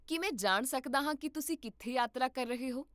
ਕੀ ਮੈਂ ਜਾਣ ਸਕਦਾ ਹਾਂ ਕੀ ਤੁਸੀਂ ਕਿੱਥੇ ਯਾਤਰਾ ਕਰ ਰਹੇ ਹੋ?